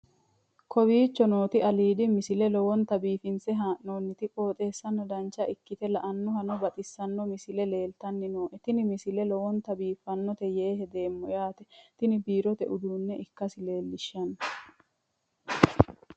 kowicho nooti aliidi misile lowonta biifinse haa'noonniti qooxeessano dancha ikkite la'annohano baxissanno misile leeltanni nooe ini misile lowonta biifffinnote yee hedeemmo yaate tini biirote uduunne ikkasi lellishshanno